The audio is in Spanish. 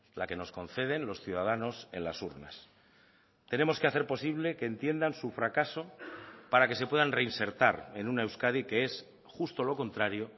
la que nos conceden los ciudadanos en las urnas tenemos que hacer posible que entiendan su fracaso para que se puedan reinsertar en una euskadi que es justo lo contrario